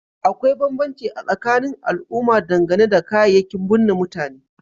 Akwai banbanci a tsakanin al'umma dangane da kayayyakin bunne mutane